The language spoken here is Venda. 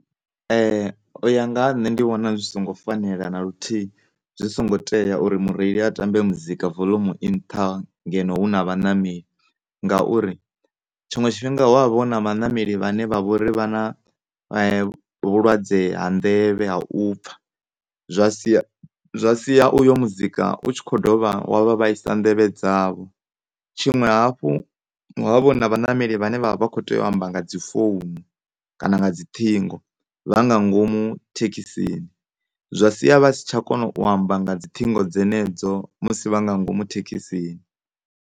U ya nga ha nṋe ndi vhona zwi songo fanela na luthihi, zwi songo tea uri mureili a tambe muzika volumu i nṱha ngeno hu na vhanameli, ngauri tshiṅwe tshifhinga hu na vhanameli vhane vha a ḓi wana vha na vhulwadze ha nḓevhe ha u pfha zwa sia, zwa sia uyo muzika u tshi kho dovha wa vha vhaisa nḓevhe dzavho, tshiṅwe hafhu hu a avha hu na vhanameli vhane vha kho tea u amba nga dzi founu kaa nga dziṱhingo vha nga ngomu thekhisini zwa sia tsha kona u amba nga dzi ṱhingo dzenedzo musi vha nga ngomu thekhisini.